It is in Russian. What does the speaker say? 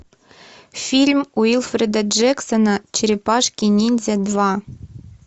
фильм уилфреда джексона черепашки ниндзя два